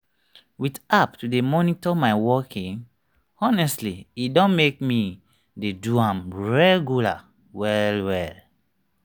with app to dey monitor my walking honestly e don make me dey do am regular well well.